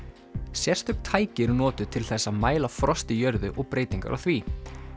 sérstök tæki eru notuð til þess að mæla frost í jörðu og breytingar á því